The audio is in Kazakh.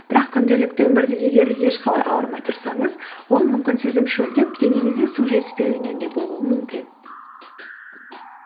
бірақ күнделікті өмірде егер де ешқалай ауырмай тұрсаңыз ол мүмкін сіздің шөлдеп денеңізде су жетіспеуінен де болуы мүмкін